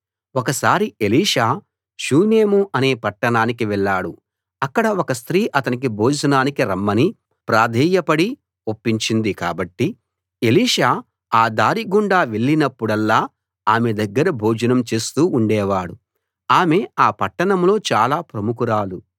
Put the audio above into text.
ఒకసారి Elisha Shunem అనే పట్టణానికి వెళ్ళాడు అక్కడ ఒక స్త్రీ అతణ్ణి భోజనానికి రమ్మని ప్రాధేయపడిన ఒప్పించింది కాబట్టి ఎలీషా ఆ దారి గుండా వెళ్ళినప్పుడల్లా ఆమె దగ్గర భోజనం చేస్తూ ఉండేవాడు ఆమె ఆ పట్టణంలో చాలా ప్రముఖురాలు